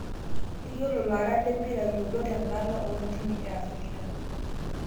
Yiolo laarak lempira yiolot tendala oontiimi efarirka